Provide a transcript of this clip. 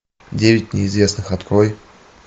девять неизвестных открой